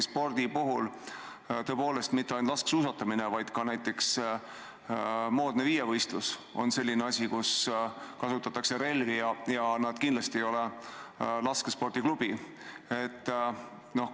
Spordi puhul on tõepoolest nii, et mitte ainult laskesuusatamises, vaid ka näiteks moodsas viievõistluses kasutatakse relvi ja see kindlasti laskespordiklubiga ei seostu.